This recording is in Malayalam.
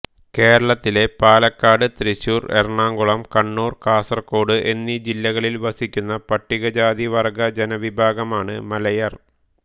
കേരളത്തിലെ പാലക്കാട് തൃശൂർ എറണാകുളം കണ്ണൂർ കാസർഗോഡ് എന്നീ ജില്ലകളിൽ വസിക്കുന്ന പട്ടികജാതിവർഗ ജനവിഭാഗമാണ് മലയർ